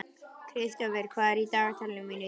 Kristófer, hvað er í dagatalinu mínu í dag?